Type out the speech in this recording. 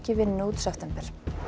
vinnu út september